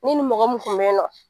Ne ni mɔgɔ mun kun beyinɔ.